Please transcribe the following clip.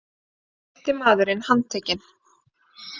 Fimmti maðurinn handtekinn